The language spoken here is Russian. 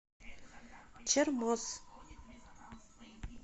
чермоз